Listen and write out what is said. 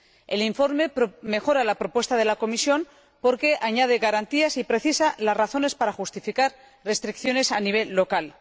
El informe mejora la propuesta de la Comisión porque añade garantías y precisa las razones para justificar restricciones a nivel local.